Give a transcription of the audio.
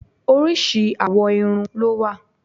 Oríṣi àwọ̀ irun ló wà.